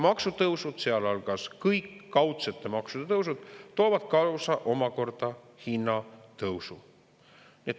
Maksutõusud, sealhulgas kõik kaudsete maksude tõusud, toovad omakorda kaasa hinnatõusu.